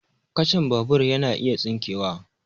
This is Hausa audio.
Kacan babur yana iya tsinkewa